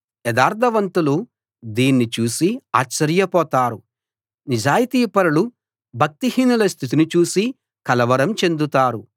యథార్థవంతులు దీన్ని చూసి ఆశ్చర్యపోతారు నిజాయితీపరులు భక్తిహీనుల స్థితిని చూసి కలవరం చెందుతారు